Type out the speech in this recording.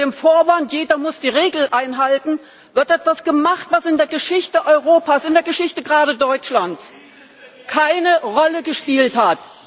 Unter dem Vorwand, jeder muss die Regeln einhalten, wird etwas gemacht, was in der Geschichte Europas, gerade in der Geschichte Deutschlands, keine Rolle gespielt hat.